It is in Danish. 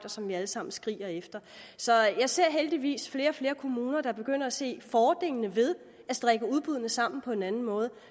og som vi alle sammen skriger efter så jeg ser heldigvis flere og flere kommuner der begynder at se fordelene ved at strikke udbuddene sammen på en anden måde